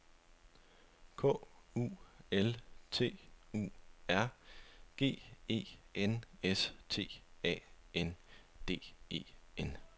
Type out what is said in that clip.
K U L T U R G E N S T A N D E N